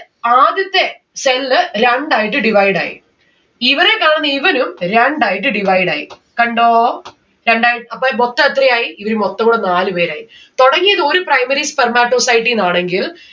ആദ്യത്തെ cell രണ്ടായിട്ട് divide ആയി. ഇവനെ കാണുന്ന ഇവനും രണ്ടായിട്ട് divide ആയി. കണ്ടോ? കണ്ട. അപ്പൊ മൊത്തൊ എത്ര ആയി? ഇവര് മൊത്തം കൂടെ നാല് പേരായി. തുടങ്ങിയത് ഒരു spermatocyte ഇന്നാണെങ്കിൽ